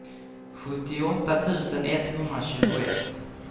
sjuttioåtta tusen etthundratjugoett